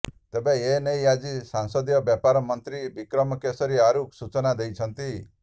ତେବେ ଏନେଇ ଆଜି ସଂସଦୀୟ ବ୍ୟାପାର ମନ୍ତ୍ରୀ ବିକ୍ରମ କେଶରୀ ଆରୁଖ ସୂଚନା ଦେଇଛନ୍ତି